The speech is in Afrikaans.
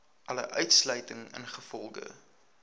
alle uitsluiting ingevolge